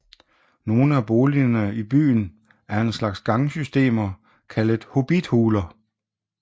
Nogle af boligerne i byen er en slags gangsystemer kaldet hobbithuller